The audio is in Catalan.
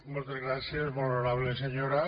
moltes gràcies molt honorable senyora